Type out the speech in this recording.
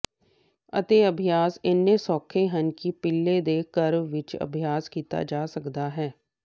ਅਤੇ ਅਭਿਆਸ ਇੰਨੇ ਸੌਖੇ ਹਨ ਕਿ ਪਿਲੇ ਦੇ ਘਰ ਵਿਚ ਅਭਿਆਸ ਕੀਤਾ ਜਾ ਸਕਦਾ ਹੈ